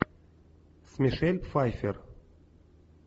с мишель пфайффер